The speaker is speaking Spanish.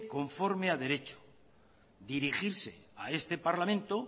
conforme a derecho dirigirse a este parlamento